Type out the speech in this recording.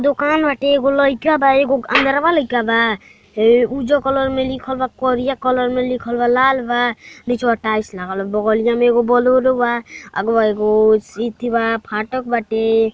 दोकान बाटे। एगो लईका बा। एगो अंदरवा लईका बा। ए उज़्ज कलर में लिखल बा। करिया कलर में लिखल बा। लाल बा। नीचवा टाइल्स लागल बा। बगलिया में एगो बोलोरो बा। आगवा एगो सीथी बा। फाटक बाटे।